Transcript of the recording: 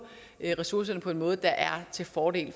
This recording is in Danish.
ressourcerne på en måde der er til fordel